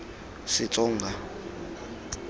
setsonga